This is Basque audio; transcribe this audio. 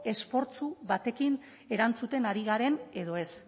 esfortzu batekin erantzuten ari garen edo ez